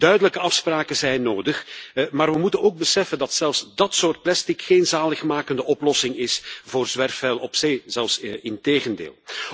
Duidelijke afspraken zijn nodig, maar we moeten ook beseffen dat zelfs dát soort plastic geen zaligmakende oplossing is voor zwerfvuil op zee, integendeel.